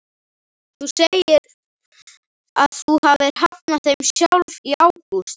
Þú segir að þú hafir hafnað þeim sjálf í ágúst?